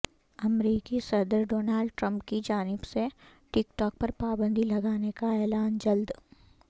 امریکی صدر Donald Trump کی جانب سے ٹک ٹاک پر پابندی لگانے کا اعلان جلد